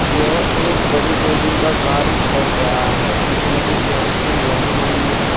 यह एक बड़ी बिल्डिंग का कार्य चल रहा है जिसमे कि सेंट्रिंग लगी हुई हैं।